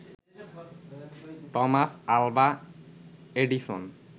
Thomas Alva Edison